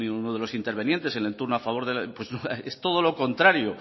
uno de los intervinientes en el turno a favor pues es todo lo contrario